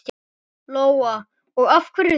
Lóa: Og af hverju þá?